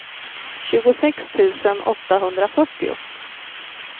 tjugosex tusen åttahundrafyrtio